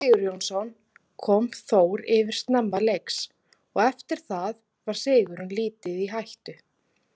Atli Sigurjónsson kom Þór yfir snemma leiks og eftir það var sigurinn lítið í hættu.